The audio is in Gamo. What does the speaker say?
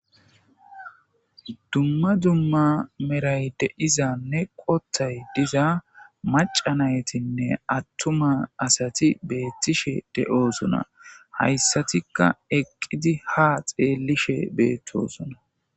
Dumma dumma meray de izanne qothay diza macanaytinne attuma asati beettishe de'osona hayssatikka eqqidi ha xeellishe beettosona.